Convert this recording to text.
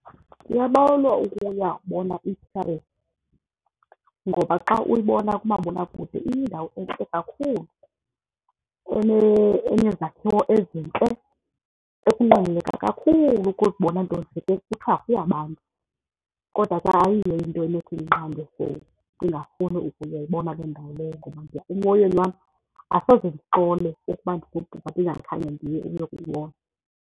Ndiyabawela ukuyabona ngoba xa uyibona kumabonakude iyindawo entle kakhulu enezakhiwo ezintle ekunqweneleka kakhulu ukuzibona, nto nje ke kuthiwa iyabanda. Kodwa ke ayiyo into enothi indinqande for ndingafuni ukuyoyibona le ndawo leyo ngoba emoyeni wam asoze ndixole ukuba ndigoduka ndingakhange ndiye uyokuyibona.